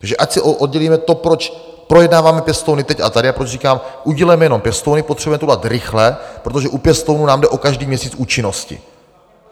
Takže ať si oddělíme to, proč projednáváme pěstouny teď a tady a proč říkám, udělejme jenom pěstouny, potřebujeme to udělat rychle, protože u pěstounů nám jde o každý měsíc účinnosti.